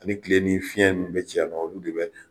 Ani kile ni fiɲɛ nu be ci yan nɔ olu de bɛ